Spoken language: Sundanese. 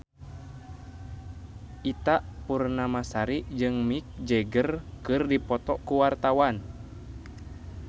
Ita Purnamasari jeung Mick Jagger keur dipoto ku wartawan